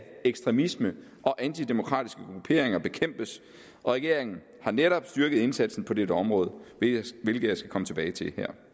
ekstremisme og antidemokratiske grupperinger bekæmpes og regeringen har netop styrket indsatsen på dette område hvilket jeg skal komme tilbage til her